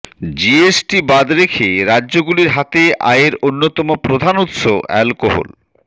GST বাদ রেখে রাজ্যগুলির হাতে আয়ের অন্যতম প্রধান উৎস অ্যালকোহল